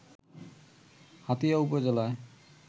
হাতিয়া উপজেলার